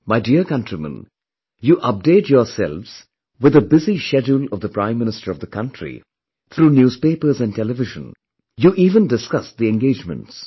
My dear countrymen, you update yourselves with the busy schedule of the Prime Minister of the country through newspapers and television, you even discuss the engagements